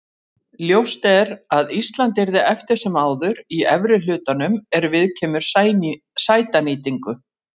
Ljóst er að Ísland yrði eftir sem áður í efri hlutanum er viðkemur sætanýtingu.